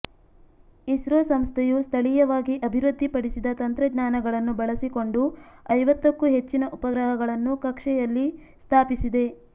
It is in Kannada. ಇಸ್ರೋ ಸಂಸ್ಥೆಯು ಸ್ಥಳೀಯವಾಗಿ ಅಭಿವೃದ್ಧಿಪಡಿಸಿದ ತಂತ್ರಜ್ಞಾನಗಳನ್ನು ಬಳಸಿಕೊಂಡು ಐವತ್ತಕ್ಕೂ ಹೆಚ್ಚಿನ ಉಪಗ್ರಹಗಳನ್ನು ಕಕ್ಷೆಯಯಲ್ಲಿ ಸ್ಥಾಪಿಸಿದೆ